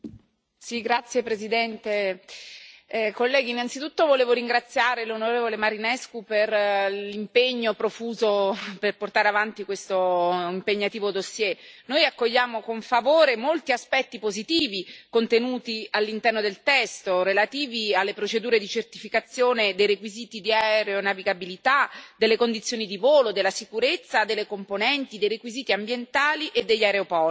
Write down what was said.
Signor Presidente, onorevoli colleghi, innanzitutto volevo ringraziare l'onorevole Marinescu per l'impegno profuso per portare avanti questo impegnativo dossier. Noi accogliamo con favore molti aspetti positivi contenuti all'interno del testo, relativi alle procedure di certificazione dei requisiti di aeronavigabilità, delle condizioni di volo, della sicurezza, delle componenti, dei requisiti ambientali e degli aeroporti.